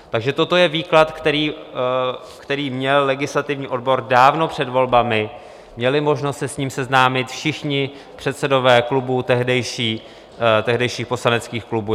Takže toto je výklad, který měl legislativní odbor dávno před volbami, měli možnost se s ním seznámit všichni předsedové klubů, tehdejších poslaneckých klubů.